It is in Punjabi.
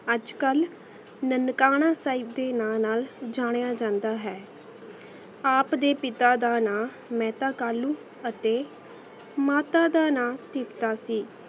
ਅੱਜ ਕਲ ਨਨਕਾਣਾ ਸਾਹਿਬ ਦੇ ਨਾਲ ਨਾਲ ਜਨਿਯ ਜਾਂਦਾ ਹੈ ਆਪ ਦੇ ਪਿਤਾ ਦਾ ਨਾ ਮੈਂ ਤਾ ਕਾਲੁ ਆਤੇ ਮਾਤਾ ਦਾ ਨਾ ਪਿਤਾ ਸੀ